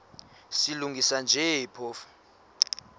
silungisa nje phofu